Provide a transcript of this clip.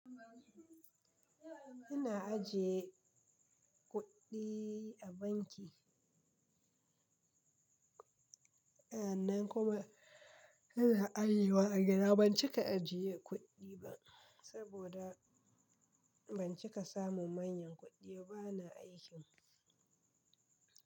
Ina ajiye kuɗi a banki. Sanan, kuma ina ajewa a gida, ban cika ajiye kuɗi ba saboda ban cika samu manyan kuɗi ba, bana aikin.